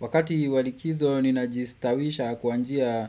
Wakati walikizo ninajistawisha kwa njia